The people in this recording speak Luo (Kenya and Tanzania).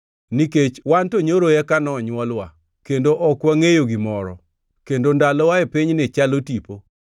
nikech wan to nyoro eka nonywolwa, kendo ok wangʼeyo gimoro, kendo ndalowa e pinyni chalo tipo.